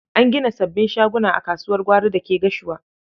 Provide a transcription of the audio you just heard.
An gina sabbin shaguna a kasuwar gwari da ke Gashua.